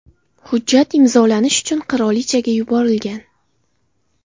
Hujjat imzolanish uchun qirolichaga yuborilgan.